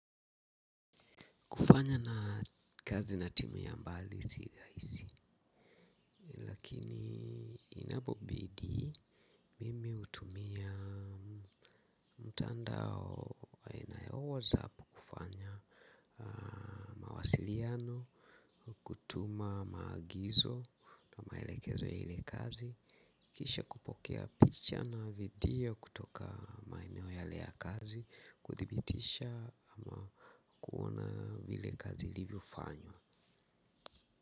Kufanya na kazi na timu ya mbali si rahisi. Lakini inapobidi mimi hutumia mtandao aina ya 'WhatsApp' kufanya mawasiliano, kutuma maagizo na maelekezo ya ile kazi. Kisha kupokea picha na video kutoka maeneo yale ya kazi, kuthibitisha ama kuona ile kazi ilivyofanywa.